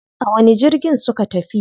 A wani jirgin suka tafi?